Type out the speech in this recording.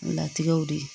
Latigɛw de ye